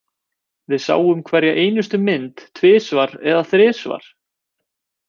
Við sáum hverja einustu mynd tvisvar eða þrisvar.